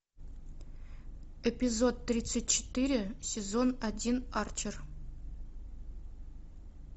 эпизод тридцать четыре сезон один арчер